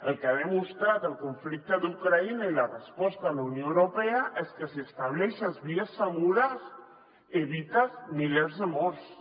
el que han demostrat el conflicte d’ucraïna i la resposta de la unió europea és que si estableixes vies segures evites milers de morts